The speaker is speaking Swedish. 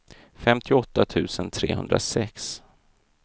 femtioåtta tusen trehundrasex